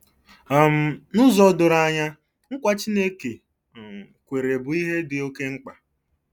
um N'ụzọ doro anya, nkwa Chineke um kwere bụ ihe dị oké mkpa.